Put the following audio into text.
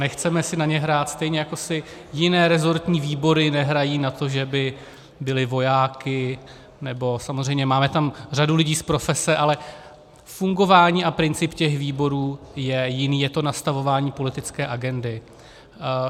Nechceme si na ně hrát, stejně jako si jiné rezortní výbory nehrají na to, že by byly vojáky, nebo... samozřejmě, máte tam řadu lidí z profese, ale fungování a princip těch výborů je jiný, je to nastavování politické agendy.